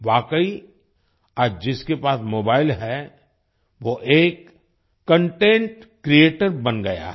वाकई आज जिसके पास मोबाईल है वो एक कंटेंट क्रिएटर बन गया है